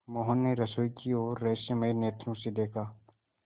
मोहन ने रसोई की ओर रहस्यमय नेत्रों से देखा